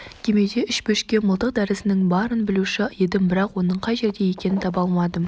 кемеде үш бөшке мылтық дәрісінің барын білуші едім бірақ оның қай жерде екенін таба алмадым